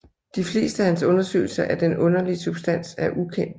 De fleste af hans undersøgelser af den underlige substans er ukendte